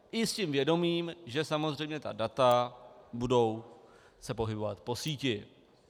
I s tím vědomím, že samozřejmě ta data budou se pohybovat po síti.